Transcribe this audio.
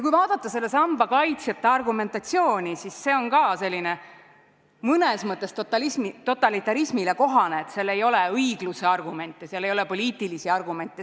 Kui vaadata selle samba kaitsjate argumentatsiooni, siis see on ka selline mõnes mõttes totalitarismile kohane, et seal ei ole õigluse argumente, seal ei ole poliitilisi argumente.